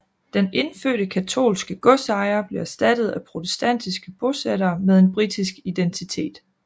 Den indfødte katolske godsejer blev erstattet af protestantiske bosættere med en britisk identitet